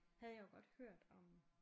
Havde jeg jo godt hørt om